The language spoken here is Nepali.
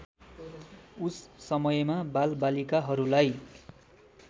उस समयमा बालबालिकाहरूलाई